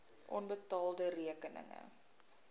onbetaalde rekeninge